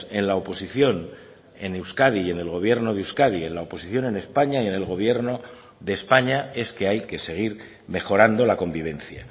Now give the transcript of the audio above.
en la oposición en euskadi y en el gobierno de euskadi en la oposición en españa y en el gobierno de españa es que hay que seguir mejorando la convivencia